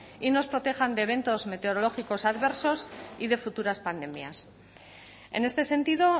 y nos protejan de eventos meteorológicos adversos y de futuras pandemias en este sentido